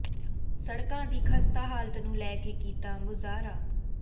ਸੜਕਾਂ ਦੀ ਖਸਤਾ ਹਾਲਤ ਨੂੰ ਲੈ ਕੇ ਕੀਤਾ ਮੁਜ਼ਾਹਰਾ